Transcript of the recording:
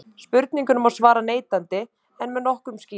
spurningunni má svara neitandi en með nokkrum skýringum